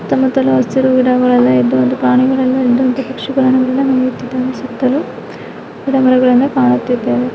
ಸುತ್ತ ಮುತ್ತಲು ಹಸಿರು ಗಿಡಗಳೆಲ್ಲ ಇದ್ದು ಅಲ್ಲಿ ಪ್ರಾಣಿಯಲೆಲ್ಲ ಇದ್ದು ಇಲ್ಲ ಪಕ್ಷಿಗಳೆಲ್ಲ ನಡೆದುತ್ತಿದ್ದು ಸುತ್ತಲೂ ಗಿಡ ಮರಗಳಿಂದ ಕಾಣುತಿದ್ದವೇ--